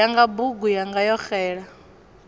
yanga bugu yanga yo xela